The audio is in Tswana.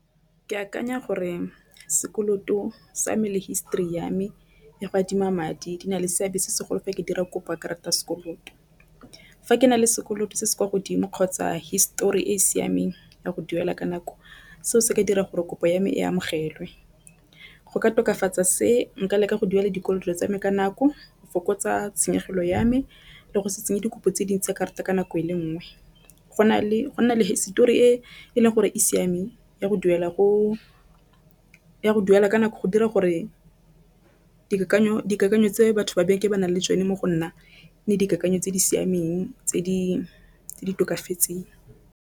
Ke akanya gore sekoloto sa me le histori ya me ya go adima madi di na le seabe se segolo fa ke dira kopo ya karata ya sekoloto. Fa ke na le sekoloto se se kwa godimo kgotsa histori e e siameng ya go duela ka nako, seo se ka dira gore kopo ya me e amogelwe. Go ka tokafatsa se nka leka go duela dikoloto tsame ka nako. Go fokotsa tshenyegelo ya me le go se tseye dikopo tse dintsi karata ka nako e le nngwe go na le go nna le hisetori e e leng gore e siameng go duela ka nako go dira gore dikakanyo tse batho ba ba nang le tsone mo go nna le dikakanyo tse di siameng tse di tse di tokafatse.